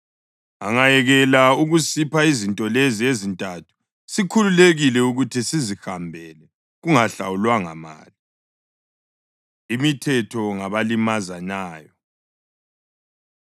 Angayekela ukusipha izinto lezi ezintathu sikhululekile ukuthi sizihambele kungahlawulwanga mali.” Imithetho Ngabalimazanayo